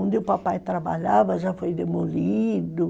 Onde o papai trabalhava já foi demolido...